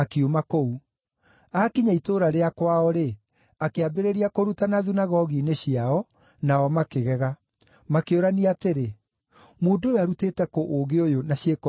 Aakinya itũũra rĩa kwao-rĩ, akĩambĩrĩria kũrutana thunagogi-inĩ ciao, nao makĩgega. Makĩũrania atĩrĩ, “Mũndũ ũyũ arutĩte kũ ũũgĩ ũyũ na ciĩko ici cia hinya?